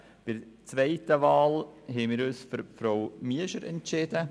Für die zweite Wahl haben wir uns für Frau Miescher entschieden.